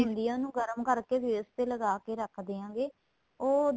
ਹੁੰਦੀ ਏ ਉਹਨੂੰ ਗਰਮ ਕਰਕੇ face ਤੇ ਲਗਾਕੇ ਰੱਖਦਿਆਂਗੇ ਉਹ